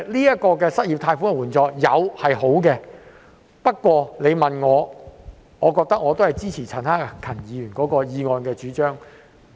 有失業借貸的援助是好的，但我仍然支持陳克勤議員的議案的主張。